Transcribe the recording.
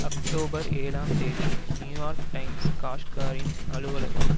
October ஏழாம் தேதி New York Times காஷ்காரியின் அலுவலகம்